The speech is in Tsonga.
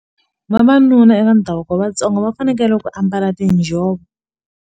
Vavanuna eka ndhavuko wa Vatsonga va fanekele ku ambala tinjhovo.